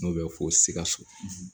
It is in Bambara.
N'o bɛ fɔ sikaso